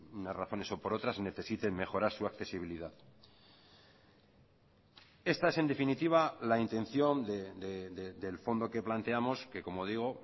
unas razones o por otras necesiten mejorar su accesibilidad esta es en definitiva la intención del fondo que planteamos que como digo